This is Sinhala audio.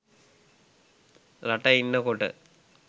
රට ඉන්න කොට